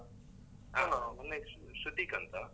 ಹ ನನ್ ಹೆಸ್ರು ಶ್ರುತೀಕ್ ಅಂತ.